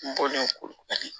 N bɔlen koyi